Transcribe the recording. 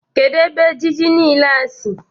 Kedụ ebe ejiji niile a sị?